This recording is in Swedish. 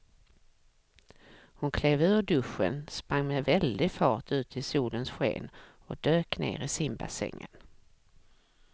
Hon klev ur duschen, sprang med väldig fart ut i solens sken och dök ner i simbassängen.